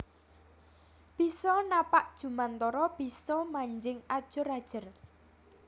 Bisa napak jumantara bisa manjing ajur ajer